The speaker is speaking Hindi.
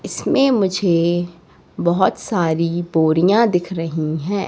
इसमें मुझे बहुत सारी बोरियां दिख रही हैं।